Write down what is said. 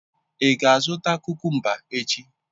Ị ga-azụta kukumba echi?